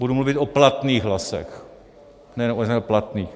Budu mluvit o platných hlasech, ne o neplatných.